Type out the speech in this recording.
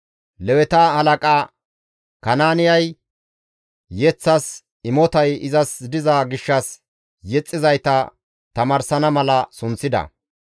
Leweta halaqa Kanaaniya yeththas imotay izas diza gishshas yexxizayta tamaarsana mala sunththida.